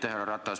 Härra Ratas!